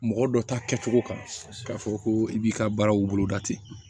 Mɔgɔ dɔ ta kɛcogo kan k'a fɔ ko i b'i ka baaraw boloda ten